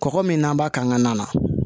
Kɔkɔ min n'an b'a k'an ka na